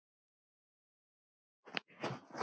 Við getum treyst þessu.